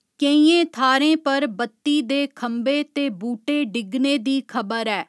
केइयें थाह्‌रें पर बत्ती दे खंबे ते बूह्टे डिग्गने दी खबर ऐ।